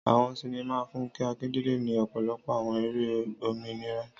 Àwọn sinima Funke Akindele ni ọpọlọpọ awọn eré òmìnira